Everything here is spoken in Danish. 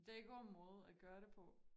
Det en god måde at gøre det på